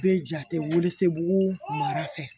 Bɛ jate weele sebugu mada fɛ